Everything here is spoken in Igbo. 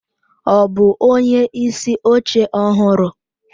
Ọ bụ onyeisi oche ọhụrụ?